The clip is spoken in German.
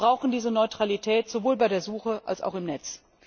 Wir brauchen diese Neutralität, sowohl bei der Suche als auch im Netz.